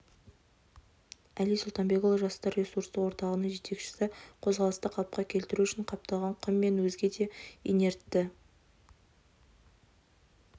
әли сұлтанбекұлы жастар ресурстық орталығының жетекшісі қозғалысты қалыпқа келтіру үшін қапталған құм мен өзге де инертті